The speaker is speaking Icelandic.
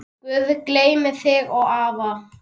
Guð geymi þig og afa.